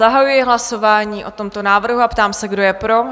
Zahajuji hlasování o tomto návrhu a ptám se, kdo je pro?